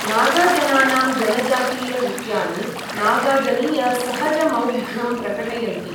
नागाजनानां जनजातीयनृत्यानि नागाजनीय सहजमौग्ध्यं प्रकटयन्ति।